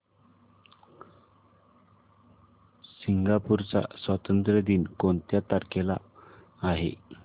Singapore चा स्वातंत्र्य दिन कोणत्या तारखेला आहे